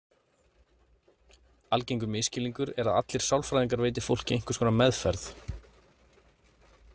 Algengur misskilningur er að allir sálfræðingar veiti fólki einhvers konar meðferð.